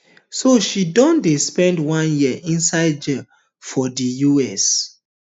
so she don spend one year inside jail for di us